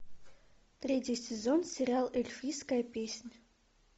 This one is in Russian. третий сезон сериал эльфийская песнь